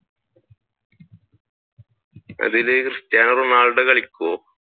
അതിൽ Cristiano Ronaldo കളിക്കോ?